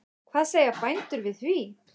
Hvað segja bændur við því?